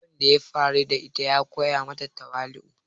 Abun da ya faru da ita ya koya mata tawali"u.